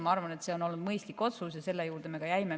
Ma arvan, et see on olnud mõistlik otsus, ja selle juurde me ka jäime.